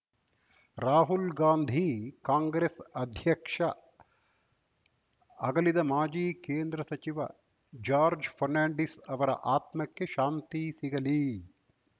ರಾಹುಲ್‌ ಗಾಂಧಿ ಕಾಂಗ್ರೆಸ್‌ ಅಧ್ಯಕ್ಷ ಅಗಲಿದ ಮಾಜಿ ಕೇಂದ್ರ ಸಚಿವ ಜಾರ್ಜ್ ಫರ್ನಾಂಡಿಸ್‌ ಅವರ ಆತ್ಮಕ್ಕೆ ಶಾಂತಿ ಸಿಗಲಿ